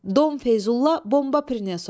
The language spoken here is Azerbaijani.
“Dom Feyzulla, bomba prinesom.”